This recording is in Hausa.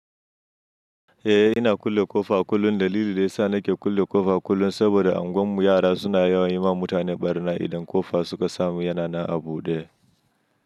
Eh, ina kulle ƙofa a kullum dalili da yasa nake kulle ƙofa kullum saboda anguwar mu yara suna yawan yi ma mutane ɓarna idan ƙofa suka samu yana na a buɗe.